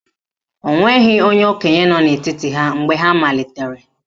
O nweghị onye okenye nọ n'etiti ha mgbe ha malitere